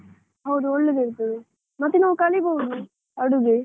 ಹೌದು ಒಳ್ಳೆದಿರ್ತದೆ, ಮತ್ತೆ ನಾವು ಕಲಿಬಹುದು, ಅಡುಗೆ.